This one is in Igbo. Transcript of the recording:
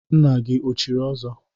Nna gị o chiri ọzọ?